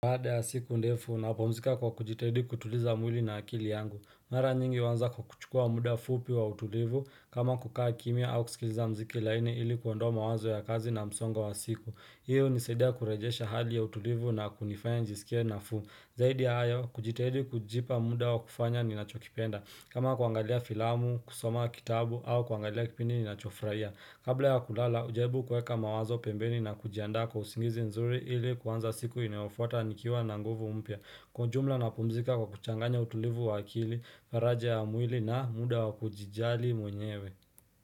Baada ya siku ndefu, napumzika kwa kujitahidi kutuliza mwili na akili yangu. Mara nyingi huanza kwa kuchukua muda fupi wa utulivu, kama kukaa kimia au kusikiliza muziki laini ili kuondoa mawazo ya kazi na msongo wa siku. Hiyo hunisaidia kurejesha hali ya utulivu na kunifanya nijisikie nafuu. Zaidi ya hayo, kujitahidi kujipa muda wa kufanya ninachokipenda. Kama kuangalia filamu, kusoma kitabu, au kuangalia kipindi ninachofurahia. Kabla ya kulala, hujaribu kuweka mawazo pembeni na kujiandaa kwa usingizi nzuri ili kuanza siku inayofuata nikiwa na nguvu mpya. Kwa jumla napumzika kwa kuchanganya utulivu wa akili, faraja ya mwili na muda wa kujijali mwenyewe.